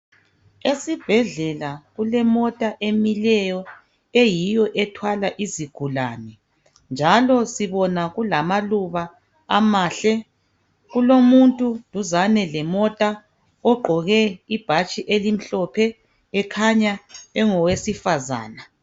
Esibhedlela kulemota emileyo, eyiyo ethwala izigulane njalo sibona kulamaluba amahle .Kulomuntu duzane lemota ogqoke ibhatshi elimhlophe ekhanya ngowesifazana.